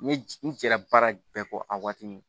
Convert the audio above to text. N ye n jɛra baara bɛɛ kɔ a waati nun